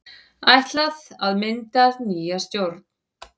Ætlað að mynda nýja stjórn